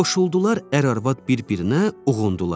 Qoşuldular ər-arvad bir-birinə uğundular.